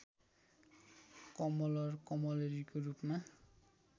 कमलर कमलरीको रूपमा